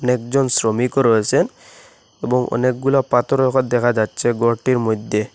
একজন শ্রমিকও রয়েসেন এবং অনেকগুলো পাথরও ওখানে দেখা যাচ্ছে ঘরটির মধ্যে।